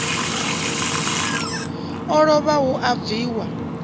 o lovha hu a bviwa